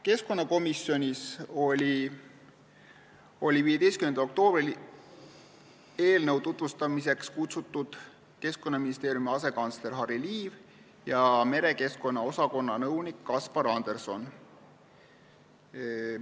Keskkonnakomisjoni olid 15. oktoobril eelnõu tutvustamiseks kutsutud Keskkonnaministeeriumi asekantsler Harry Liiv ja merekeskkonna osakonna nõunik Kaspar Anderson.